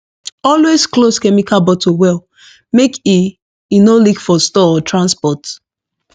always close chemical bottle well make e e no leak for store or transport